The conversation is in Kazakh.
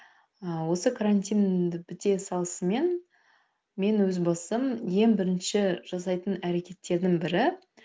ыыы осы карантин біте салысымен мен өз басым ең бірінші жасайтын әрекеттердің бірі